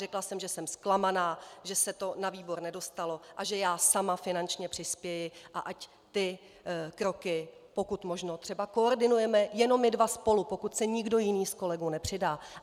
Řekla jsem, že jsem zklamaná, že se to na výbor nedostalo a že já sama finančně přispěji a ať ty kroky pokud možno třeba koordinujeme jenom my dva spolu, pokud se nikdo jiný z kolegů nepřidá.